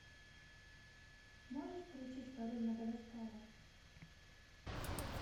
можешь включить король мадагаскара